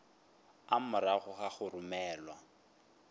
a morago ga go romelwa